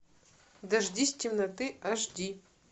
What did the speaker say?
дождись темноты аш ди